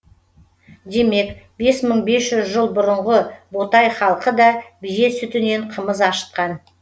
демек бес мың бес жүз елу жыл бұрынғы ботай халқы да бие сүтінен қымыз ашытқан